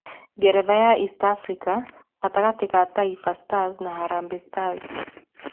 Ngeretha ya East Africa gatagatĩ ka Taifa Stars na Harambee Stars.